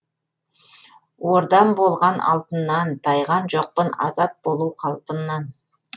ордам болған алтыннан тайған жоқпын азат болу қалпымнан